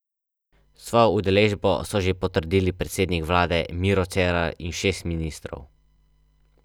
Izkušnje iz preteklih let kažejo, da nadzorne aktivnosti pozitivno vplivajo na prostovoljno izpolnjevanje davčnih obveznosti in da je kršitev iz leta v leto manj.